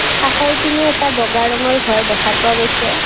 কাষৰপিনে এটা বগা ৰঙৰ ঘৰ দেখা পোৱা গৈছে।